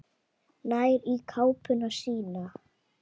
Nær í kápuna sína.